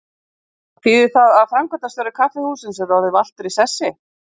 Þýðir það að framkvæmdastjóri kaffihússins er orðinn valtur í sessi?